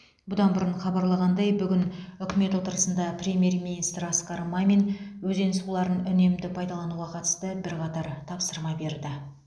бұдан бұрын хабарланғандай бүгін үкімет отырысында премьер министр асқар мамин өзен суларын үнемді пайдалануға қатысты бірқатар тапсырма берді